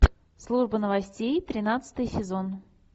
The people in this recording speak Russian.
служба новостей тринадцатый сезон